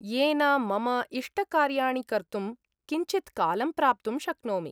येन मम इष्टकार्याणि कर्तुं किञ्चित्कालं प्राप्तुं शक्नोमि।